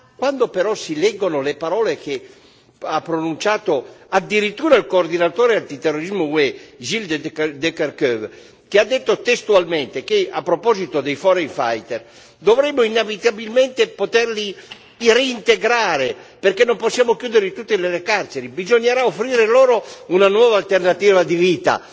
Quando però si leggono le parole che ha pronunciato addirittura il coordinatore antiterrorismo UE, Gilles De Kerchove, che ha detto testualmente, a proposito dei foreign fighters che dovremmo inevitabilmente poterli reintegrare, perché non possiamo chiuderli tutti nelle carceri, che bisognerà offrire loro una nuova alternativa di vita...